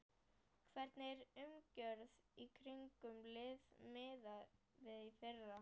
Hvernig er umgjörðin í kringum liðið miðað við í fyrra?